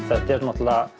þetta er